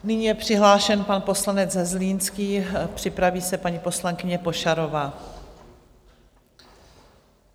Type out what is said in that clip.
Nyní je přihlášen pan poslanec Zlínský, připraví se paní poslankyně Pošarová.